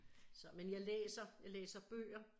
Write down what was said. Så men jeg læser jeg læser bøger